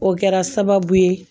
O kɛra sababu ye